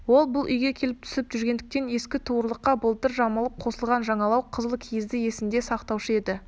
ол бұл үйге келіп түсіп жүргендіктен ескі туырлыққа былтыр жамалып қосылған жаңалау қызыл киізді есінде сақтаушы еді